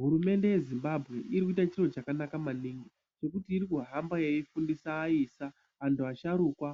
Hurumende ye Zimbabwe irikuite chiro chakanaka maningi ngekuti irikuhamba eyifundisa eyisa, vantu vasharukwa